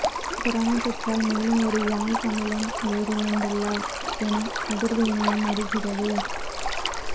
corona தொற்றால் மேலும் ஒரு யாழ் தமிழன் உயிரிழந்துள்ளார் என அதிர்வு இணையம் அறிகிறது